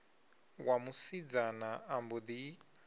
wa musidzana a mbo ḓi